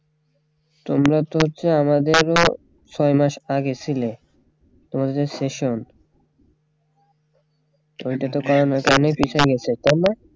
তোমরা তো হচ্ছে আমাদের ও ছয় মাস আগে ছিলে তোমাদের session ওইটা তো করোনার কারণে পিছিয়ে গেছে তাইনা